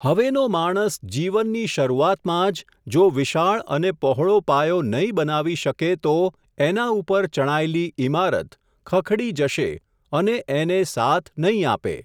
હવેનો માણસ જીવનની શરૂઆતમાં જ, જો વિશાળ અને પહોળો પાયો નહીં બનાવી શકે તો એના ઉપર ચણાયેલી ઈમારત, ખખડી જશે અને એને સાથ નહીં આપે.